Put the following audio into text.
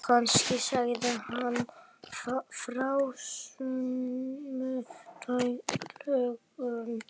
Kannski sagði hann frá sumu löngu seinna.